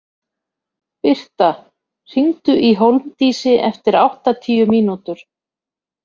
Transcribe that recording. Birta, hringdu í Hólmdísi eftir áttatíu mínútur.